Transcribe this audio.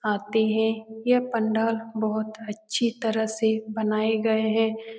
आते हैं यह पंडाल बहुत अच्छी तरह से बनाए गए हैं।